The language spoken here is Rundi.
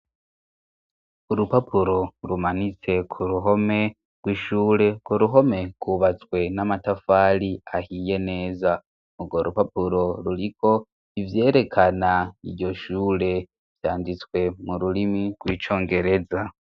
Urupapuro rumanitse ku ruhome rw'ishure ku ruhome kubatswe n'amatafari ahiye neza urwo rupapuro ruriko ivyerekana iryo shure vyanditswe mu rurimi rw'icongereza.